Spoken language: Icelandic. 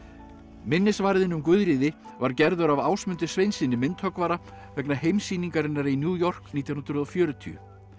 minnisvarðinn um Guðríði var gerður af Ásmundi Sveinssyni myndhöggvara vegna heimssýningarinnar í New York nítján hundruð og fjörutíu